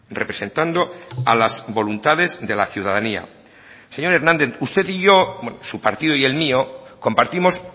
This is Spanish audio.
representando a las voluntades de la ciudadanía señor hernández usted y yo su partido y el mío compartimos